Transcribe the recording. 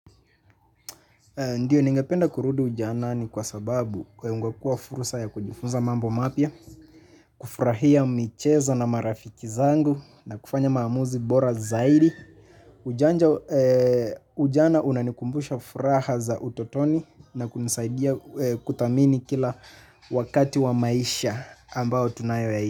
Ndiyo ningependa kurudu ujanani kwa sababu ingekuwa furusa ya kujifunza mambo mapya kufurahia michezo na marafiki zangu na kufanya maamuzi bora zaidi. Ujana unanikumbusha furaha za utotoni na kunisaidia kuthamini kila wakati wa maisha ambao tunayoyaishi.